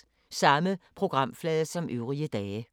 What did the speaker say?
Samme programflade som øvrige dage